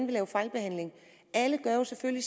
lave fejlbehandlinger alle gør jo selvfølgelig